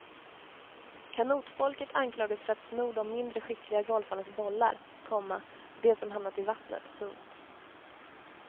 Kanotfolket anklagas för att sno de mindre skickliga golfarnas bollar, komma de som hamnat i vattnet. punkt